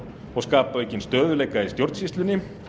og skapa aukinn stöðugleika í stjórnsýslunni